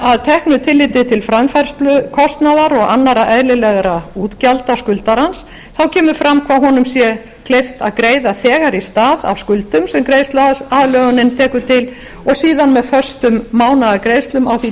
að teknu tilliti til framfærslukostnaðar og annarra eðlilegra útgjalda skuldarans þá kemur fram hvað honum er kleift að greiða þegar í stað af skuldum sem greiðsluaðlögunin tekur til og síðan með föstum mánaðargreiðslum á því